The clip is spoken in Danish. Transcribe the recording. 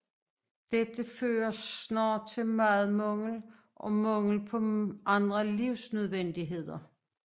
Dette førte snart til madmangel og mangel på andre livsnødvendigheder